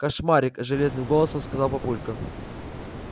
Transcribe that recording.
кошмарик железным голосом сказал папулька